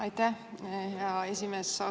Aitäh, hea esimees!